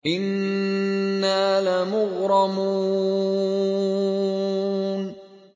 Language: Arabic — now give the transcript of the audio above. إِنَّا لَمُغْرَمُونَ